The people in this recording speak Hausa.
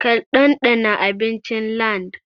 Ki ɗanɗana abincin LandN!